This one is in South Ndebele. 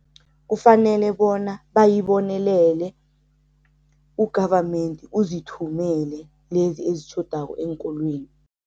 Kufanele bona bayibonelele, u-government uzithumele lezi ezitjhodako eenkolweni.